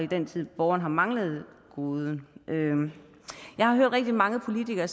den tid borgeren har manglet godet jeg har hørt rigtig mange politikere